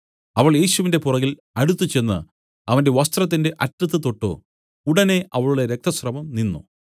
അവൾ യേശുവിന്റെ പുറകിൽ അടുത്തുചെന്ന് അവന്റെ വസ്ത്രത്തിന്റെ അറ്റത്ത് തൊട്ടു ഉടനെ അവളുടെ രക്തസ്രവം നിന്നു